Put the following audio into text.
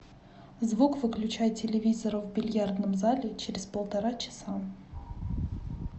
звук выключай телевизора в бильярдном зале через полтора часа